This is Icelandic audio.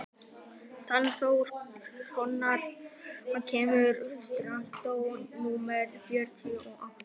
Fannþór, hvenær kemur strætó númer þrjátíu og átta?